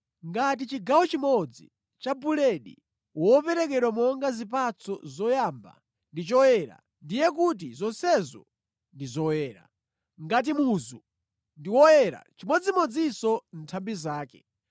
Ngati chigawo chimodzi cha buledi woperekedwa monga zipatso zoyamba ndi choyera, ndiye kuti zonsezo ndi zoyera. Ngati muzu ndi oyera, nʼchimodzimodzinso nthambi zake.